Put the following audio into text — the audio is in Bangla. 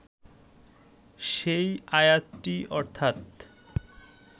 সেই আয়াতটি অর্থাৎ